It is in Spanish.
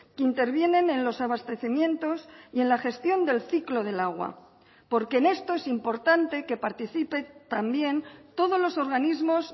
que intervienen en los abastecimientos y en la gestión del ciclo del agua porque en esto es importante que participe también todos los organismos